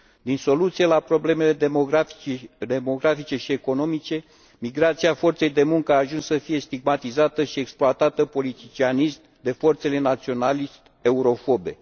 Din soluțiile la problemele demografice și economice, migrația forței de muncă a ajuns să fie stigmatizată și exploatată politicianist de forțele naționalist eurofobe.